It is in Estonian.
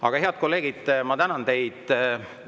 Aga, head kolleegid, ma tänan teid!